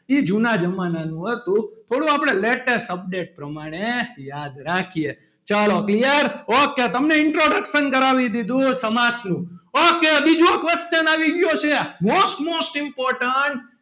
તે જૂનાં જમાનાનું હતું થોડું આપડે latest update પ્રમાણે યાદ રાખીયે ચલો clear okay તમને introduction કરાવી દીધુ સમાસનું okay બીજો question આવી ગયો છે most most important